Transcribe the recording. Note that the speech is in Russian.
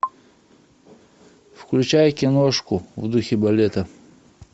включай киношку в духе балета